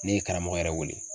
Ne ye karamɔgɔ yɛrɛ wele.